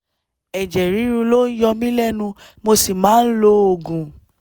ẹ̀jẹ̀ ríru ló ń yọ mí lẹ́nu mo sì máa ń lo oògùn